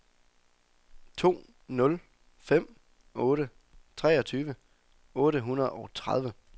to nul fem otte treogtyve otte hundrede og tredive